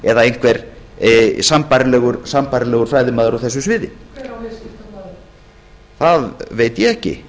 eða einhverjum sambærilegum fræðimanni á þessu sviði hver á viðskiptablaðið það veit ég ekki